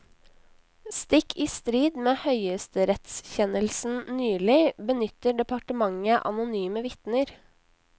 Stikk i strid med høyesterettskjennelsen nylig, benytter departementet anonyme vitner.